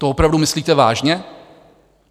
To opravdu myslíte vážně?